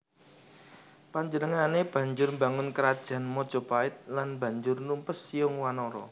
Panjenengané banjur mbangun Krajan Majapait lan banjur numpes Siyung Wanara